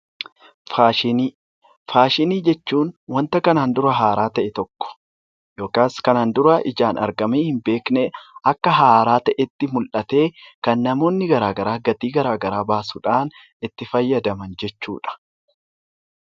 Faashinii Faashinii jechuun wanta kanaan dura haaraa ta'e tokko yookaas kanaan dura ijaan argamee hin beekne akka haaraa ta'etti mul'atee kan namoonni garaagaraa gatii garaagaraa baasuudhaan itti fayyadaman jechuu dha.